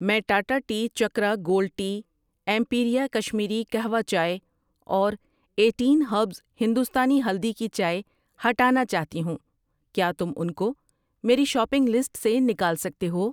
میں Tata tea Chakra gold tea, Imperia Kashmiri kahwa چائے اور ایٹین ہربز ہندوستانی ہلدی کی چائے ہٹانا چاہتی ہوں، کیا تم ان کو میری شاپنگ لسٹ سے نکال سکتے ہو؟